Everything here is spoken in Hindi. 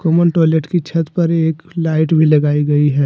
टॉयलेट की छत पर एक लाइट भी लगाई गई है।